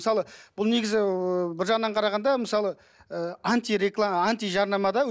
мысалы бұл негізі ыыы бір жағынан қарағанда мысалы ы антижарнама да